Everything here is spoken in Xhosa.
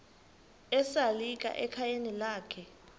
esalika ekhayeni lakhe